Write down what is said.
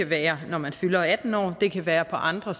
være når man fylder atten år det kan være på andre